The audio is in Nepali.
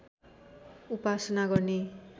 उपासना गर्ने